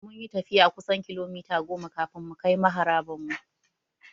Mun yi tafiyar kusan kilomita goma kafin mukai maharaban mu.